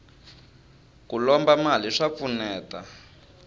ku lomba mali swa pfuneta